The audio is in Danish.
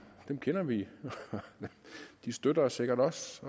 dem kender vi og de støtter os sikkert også